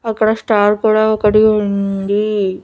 అక్కడ స్టార్ కూడా ఒకటి ఉంది.